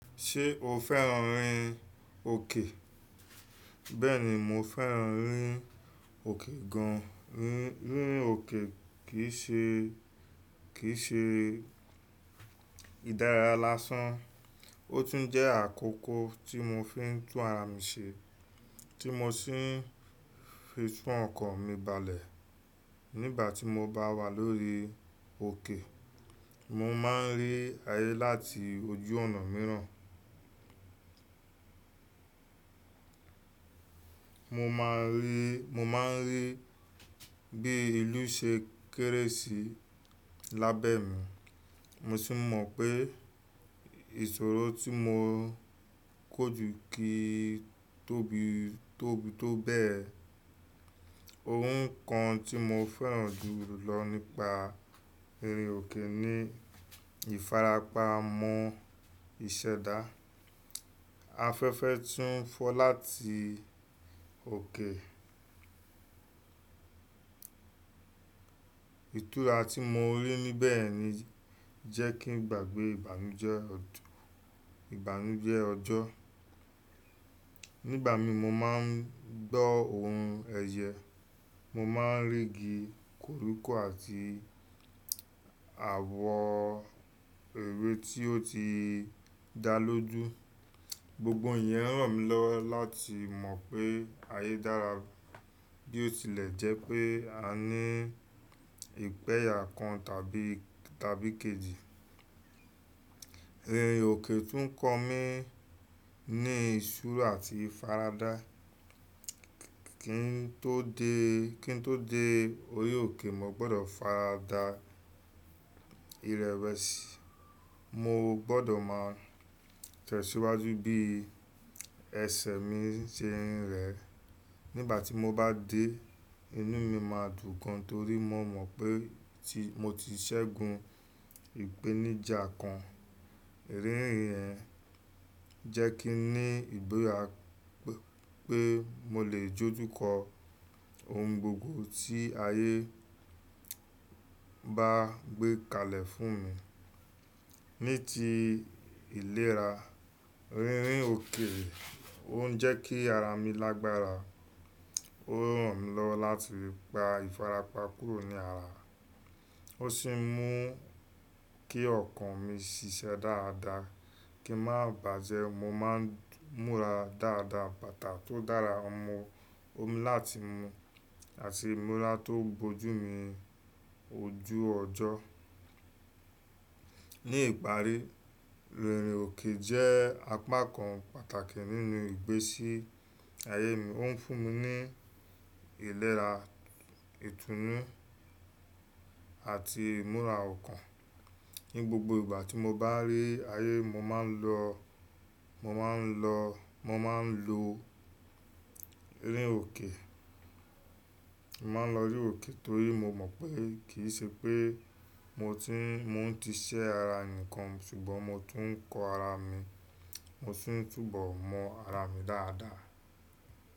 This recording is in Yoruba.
Ṣé o fẹ́ràn rin òkè? Bẹ́ẹ̀ni, mo fẹ́ràn rírin òkè gan. Rírin òkè kì í ṣe, kì í ṣe ìdárayá lásán, ó tún jẹ́ àkókò tí mo fi ń tún ara mi ṣe tí mo sì ń fi tún ọkàn mi balẹ̀. Nígbà tí mo bá wà lórí òkè, mo máa ń rí ayé láti wojú ọ̀nà mìíràn. Mo máa ń rí, mo máa ń rí bí ìlú ṣe kéré sí lábẹ́ mi. Mo sì mọ̀ pé ìṣòro tí mo kójú kì í tóbi, tóbi tó bẹ́ẹ̀. Ohun kan tí mo fẹ́ràn jù lọ nípa rírin òkè ni ìfarapa mọ ìṣẹ́dá. Afẹ́fẹ́ tún ń fọ láti òkè. Ìtura tí mo rí níbẹ̀ ni jẹ́ kí n gbàgbé ìbànújẹ́ ọdù, ìbànújẹ́ ọjọ́. Nígbà mi mo má ń gbọ́ ohùn ẹyẹ, mo má ń rí igi korúkọ àti àwọ ewé tí ó ti dá lójú. Gbogbo iyẹn ràn mí lọ́wọ́ láti mọ̀ pé ayé dára bí ó tilẹ̀ jẹ́ pé a ní ìpẹ́yà kan tàbí, tàbí kejì. Rírin òkè tún ń kọ mí ní ìṣura àti ìfaradá. Kí n tó dé, kí n tó dé orí òkè, mo gbọdọ̀ farada ìrẹwẹ̀sì, mo gbọdọ̀ máa tẹ̀síwájú bí ẹsẹ̀ mi ṣe ń rẹ. Nígbà tí mo bá dé, inú mi máa dùn gan torí mo mọ̀ pé tí, mo ti ṣẹ́gun ìpèníjà kan. Rírin rẹ̀ jẹ́ kí n ní ìgbéraga pé mo lè jójú kọ ohun gbogbo tí ayé bá gbé kalẹ̀ fún mi. Ní ti ìlera, rírin òkè ó ń jẹ́ kí ara mi lágbára. Ó ràn mí lọ́wọ́ láti gba ìfarapa kúrò ní ara. Ó sì ń mú kí ọkàn mi ṣiṣẹ́ dáadáa kí ń má bàjẹ́. Mo má ń múra dáadáa, bàtà tó dára mọ omi láti mu àti ìmúra tó bojú mi ojú ọjọ́. Ní ìparí, rírin òkè jẹ́ apá kan pàtàkì nínú ìgbésí ayé mi. Ó ń fún mi ní ìlera, ìtúnú àti ìmúra ọkàn. Ní gbogbo ìgbà tí mo bá rí ayé, mo máa ń lọ, mo máa ń lọ, mo máa ń lo rírin òkè. Mo máa ń lọ rírin òkè torí mo mọ̀ pé kì í ṣe pé mo ti ń, mo ti ṣẹ́ ara nìkan ṣùgbọ́n mo tún ń kọ ara mi, mo sì ń túbọ̀ mọ ara mi dáadáa.